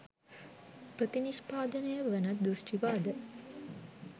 ප්‍රතිනිෂ්පාදනය වන දෘෂ්ටිවාද